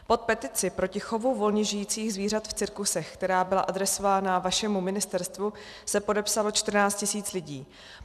Pod petici proti chovu volně žijících zvířat v cirkusech, která byla adresována vašemu ministerstvu, se podepsalo 14 tisíc lidí.